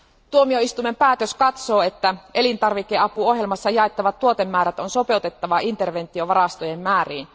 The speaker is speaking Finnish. Tuomioistuimen päätös katsoo, että elintarvikeapuohjelmassa jaettavat tuotemäärät on sopeutettava interventiovarastojen määriin.